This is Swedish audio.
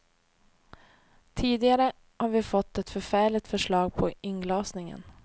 Tidigare har vi fått ett förfärligt förslag på inglasningen.